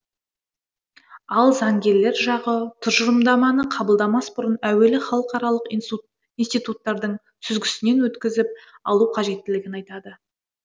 ал заңгерлер жағы тұжырымдаманы қабылдамас бұрын әуелі халықаралық институттардың сүзгісінен өткізіп алу қажеттігін айтады